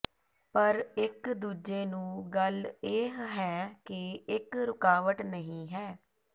ਪਰ ਇੱਕ ਦੂਜੇ ਨੂੰ ਗੱਲ ਇਹ ਹੈ ਕਿ ਇੱਕ ਰੁਕਾਵਟ ਨਹੀ ਹੈ